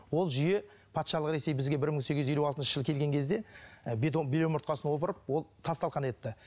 ол жүйе патшалық ресей бізге мың сегіз жүз елу алтыншы жылы келген кезде і бел омыртқасын опырып ол тас талқан етті